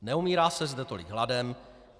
Neumírá se zde tolik hladem.